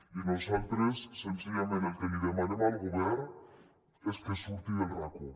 i nosaltres senzillament el que li demanem al govern és que surti del racó